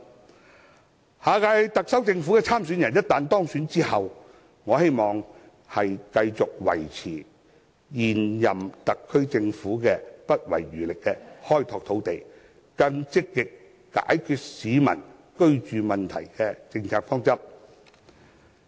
我希望下一屆特首參選人在當選之後，繼續維持現任特區政府不遺餘力地開拓土地，更積極解決市民居住問題的政策方針。